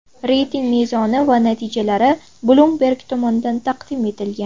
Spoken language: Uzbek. Reyting mezoni va natijalari Bloomberg tomonidan taqdim etilgan .